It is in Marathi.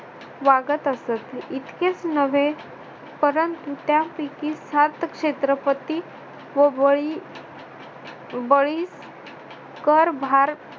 वागत असत. इतकेच नव्हे परंतु त्यापैकी सार्थक क्षेत्रपती व बळी बळी करभार